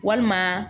Walima